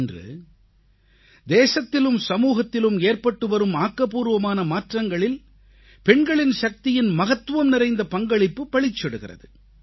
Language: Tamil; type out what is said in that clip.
இன்று தேசத்திலும் சமூகத்திலும் ஏற்பட்டுவரும் ஆக்கப்பூர்வமான மாற்றங்களில் பெண்களின் சக்தியின் மகத்துவம்நிறைந்த பங்களிப்பு பளிச்சிடுகிறது